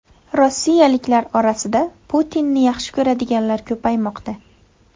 Rossiyaliklar orasida Putinni yaxshi ko‘radiganlar ko‘paymoqda.